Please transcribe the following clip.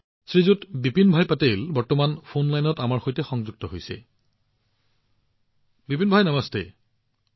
শ্ৰীমান বিপিনভাই পেটেল এই মুহূৰ্তত আমাৰ সৈতে ফোন লাইনত আছে